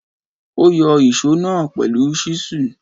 Ó yọ ìsó náà pẹ̀lú ṣísù.